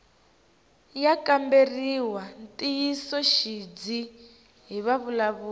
ya kamberiwa ntiyisoxidzi hi vavulavuri